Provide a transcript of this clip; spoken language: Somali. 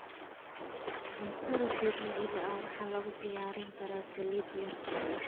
Cuntada dabiiciga ah waxaa lagu diyaarin karaa saliid yar.